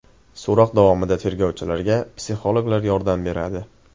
So‘roq davomida tergovchilarga psixologlar yordam beradi.